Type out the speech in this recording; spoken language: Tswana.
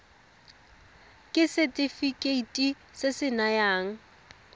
ke setefikeiti se se nayang